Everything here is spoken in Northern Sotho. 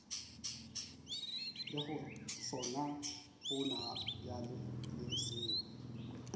lego sona gonabjale le seo